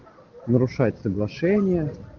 нарушать соглашение